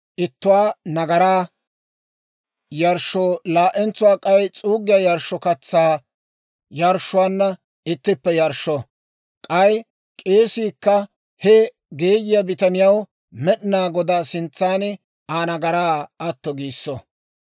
ittuwaa nagaraa yarshshoo laa"entsuwaa k'ay s'uuggiyaa yarshshoo katsaa yarshshuwaanna ittippe yarshsho. K'ay k'eesiikka he geeyiyaa bitaniyaw Med'inaa Godaa sintsan Aa nagaraa atto giisso.